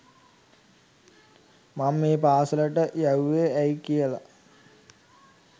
මං මේ පාසලට යැව්වෙ ඇයි කියල